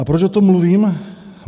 A proč o tom mluvím?